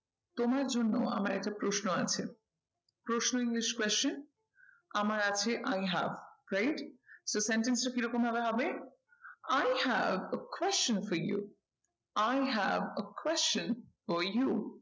তোমার জন্য আমার একটা প্রশ্ন আছে। প্রশ্ন english question আমার আছে i have right তো sentence টা কি রকম ভাবে হবে i have a question for you, I have a question for you